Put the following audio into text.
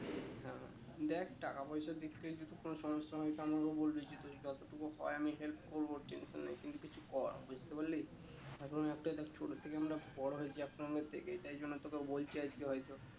হ্যাঁ দেখ টাকা পয়সার দিক থেকে যদি কোনো সমস্যা হয়ে তো আমাকে বলে দিচ্ছি তুই যতটুকু হয়ে আমি help করবো tension নেই তুই কিছু কর বুঝতে পারলি এখন একটাই দেখ ছোট থেকে আমরা বড়ো হয়েছি এক সঙ্গে থেকে তাই জন্য তোকে বলছি আজকে হয়তো